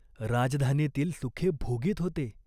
राजधानीतील सुखे भोगीत होते.